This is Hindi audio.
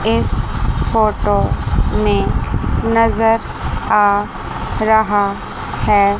इस फोटो में नजर आ रहा है।